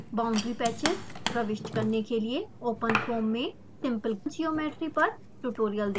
boundary patches प्रविष्ट करने के लिए openfoam में सिम्पल ज्योमेट्री पर ट्यूटोरियल देखें